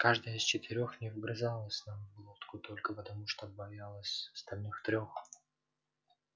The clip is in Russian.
каждое из четырёх не вгрызалось нам в глотку только потому что боялось остальных трёх